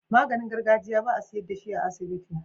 Maganin gargajiya ba a siyar dashi a asibiti